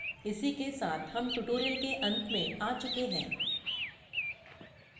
इसी के साथ हम tutorial के अंत में आ चुके हैं